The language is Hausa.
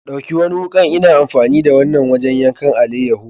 Ɗauki wani wuka ,n'na amfani da wanan wajen yankan alayeho.